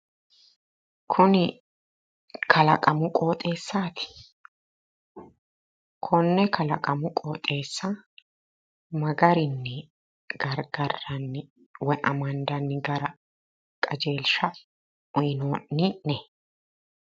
Kuni kalaqamu qooxeessati? konne kalaqamu qooxeessa ma garinni gargarranni woyi Amandandanni gara qajeelsha uyinoonni'ne?